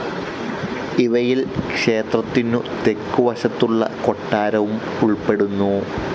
ഇവയിൽ ക്ഷേത്രത്തിനു തെക്ക് വശത്തുള്ള കൊട്ടാരവും ഉൾപ്പെടുന്നു.